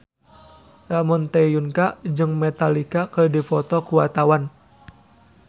Ramon T. Yungka jeung Metallica keur dipoto ku wartawan